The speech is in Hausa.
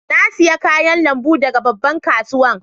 Na siya kayan lambun daga babban kasuwan.